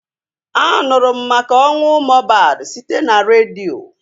A nụrụ m maka ọnwụ Mohbad site n'redio